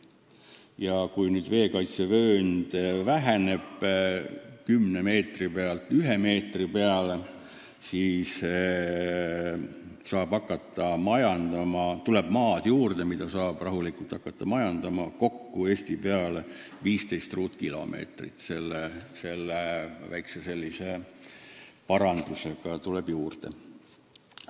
Ja kui veekaitsevöönd väheneb 10 meetri pealt ühe meetri peale, siis tuleb seda maad, kus saab rahulikult majandama hakata, tänu sellele väiksele parandusele Eesti peale kokku 15 ruutkilomeetrit juurde.